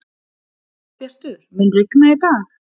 Dagbjartur, mun rigna í dag?